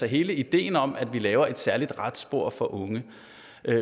hele ideen om at vi laver et særligt retsspor for unge